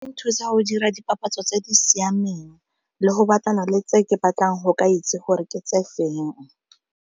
E nthusa go dira dipapatso tse di siameng le go batlana le tse ke batlang go ka itse gore ke tse feng.